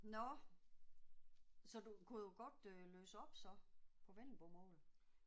Nåh. Så du kunne jo godt øh læse op så på vendelbomål